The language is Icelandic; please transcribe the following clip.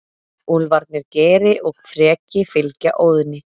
Úlfarnir Geri og Freki fylgja Óðni.